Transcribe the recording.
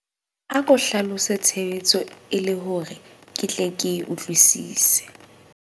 Ako hlalose tshebetso e le hore ke tle ke e utlwwisise.